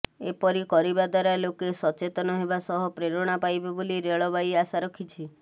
ଏପରି କରିବା ଦ୍ୱାରା ଲୋକେ ସଚେତନ ହେବା ସହ ପ୍ରେରଣା ପାଇବେ ବୋଲି ରେଳବାଇ ଆଶା ରଖିଛି